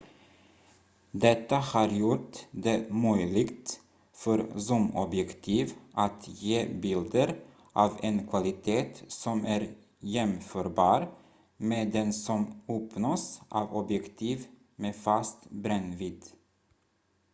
detta har gjort det möjligt för zoomobjektiv att ge bilder av en kvalitet som är jämförbar med den som uppnås av objektiv med fast brännvidd